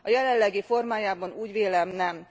A jelenlegi formájában úgy vélem nem.